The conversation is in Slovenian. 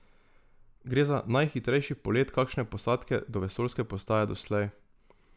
Gre za najhitrejši polet kakšne posadke do vesoljske postaje doslej.